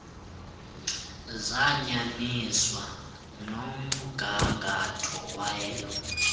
zayanyaniswa nomgangatho welo